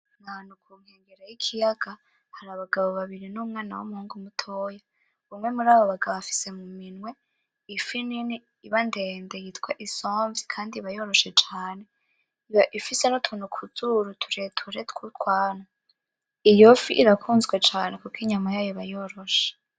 Ni ahantu ku nkengera y'ikiyaga. Hari abagabo babiri n'umwana w'umuhungu mutoya. Umwe murabo bagabo afise muminwe ifi nini iba ndende yitwa isomvyi kandi iba yoroshe caane. Iba ifise n'utuntu ku zuru tureture tw'utwanwa. Iyo fi irakunzwecane kuko inyama yayo iba yoroshe.